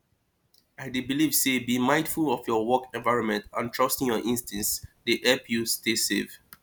i dey believe say being mindful of your work environment and trusting your instincts dey help you stay safe